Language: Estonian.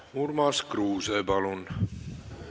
Urmas Kruuse, palun!